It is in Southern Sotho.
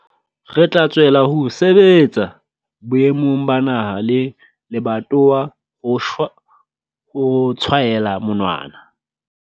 Re tla tswella ho sebetsa boemong ba naha le lebatowa ho shwa ho tshwaela monwana.